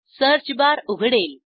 search bar उघडेल